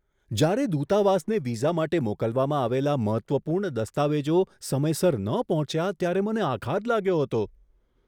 જ્યારે દૂતાવાસને વિઝા માટે મોકલવામાં આવેલા મહત્ત્વપૂર્ણ દસ્તાવેજો સમયસર ન પહોંચ્યા ત્યારે મને આઘાત લાગ્યો હતો.